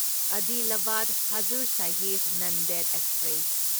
Adilabad Hazur Sahib Nanded express